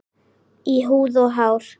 Í húð og hár.